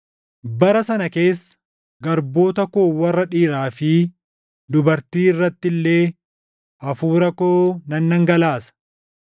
Bara sana keessa, garboota koo warra dhiiraa fi dubartii irratti illee Hafuura koo nan dhangalaasa.